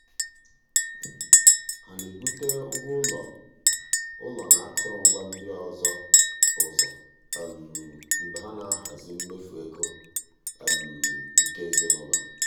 ha na-ebute ụgwọ ụlọ ụlọ na akụrụngwa ndị ọzọ ụzọ mgbe ha na-ahazi mmefu ego nke ezinụụlọ.